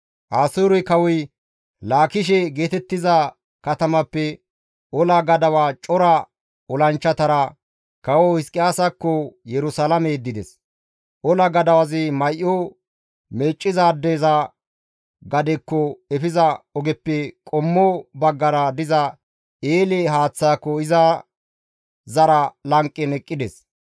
Asoore kawoy Laakishe geetettiza katamappe ola gadawa cora olanchchatara kawo Hizqiyaasakko Yerusalaame yeddides. Ola gadawazi May7o meeccizaadeza gadekko efiza ogeppe qommo baggara diza eele haaththaako iza zara lanqen eqqides.